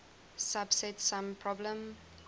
subset sum problem